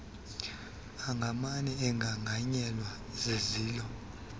angamane egrangranyelwe zizilo